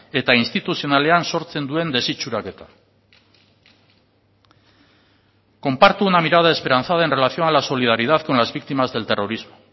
eta instituzionalean sortzen duen desitxuraketa comparto una mirada esperanzada en relación a la solidaridad con las víctimas del terrorismo